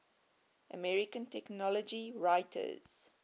american technology writers